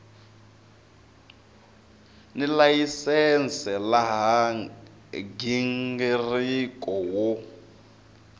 ni layisense laha nghingiriko wo